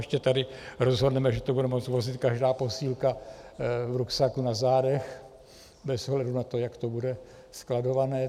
Ještě tady rozhodneme, že to bude moci vozit každá posílka v ruksaku na zádech bez ohledu na to, jak to bude skladované.